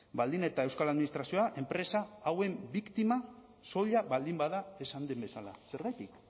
baldin eta euskal administrazioa enpresa hauen biktima soila baldin bada esan den bezala zergatik